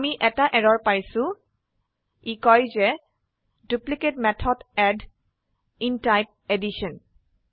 আমি এটা এৰৰ পাইছো ই কয় যে duplicate method add in type addition